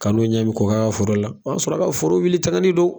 Kalo ɲɛ bi kɔkɛ a ka foro la ,o y'a sɔrɔ a ka foro wuli tangani don